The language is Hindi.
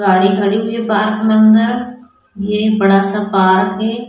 गाड़ी खड़ी हुई है पार्क में अंदर ये बड़ा सा पार्क है।